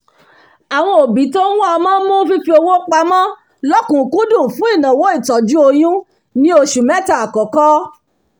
àwọn òbí tó ń wá ọmọ mú fífi owópamọ lọkùkúndùn fún ìnáwó ìtọ́jú oyún ni oṣù mẹ́ta àkọ́kọ́